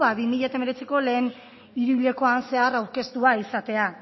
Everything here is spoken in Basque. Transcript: bi mila hemeretziko lehen hiruhilekoan zehar aurkeztua izatea